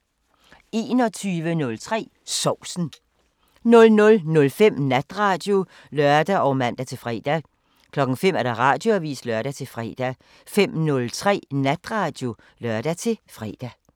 21:03: Sovsen 00:05: Natradio (lør og man-fre) 05:00: Radioavisen (lør-fre) 05:03: Natradio (lør-fre)